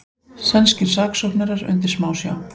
Sænskir saksóknarar undir smásjá